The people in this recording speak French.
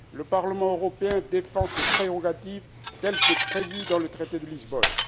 Le Parlement européen défend ses prérogatives telles que prévues dans le traité de Lisbonne.